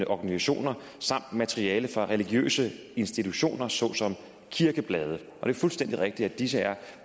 organisationer samt materiale fra religiøse institutioner såsom kirkeblade det er fuldstændig rigtigt at disse er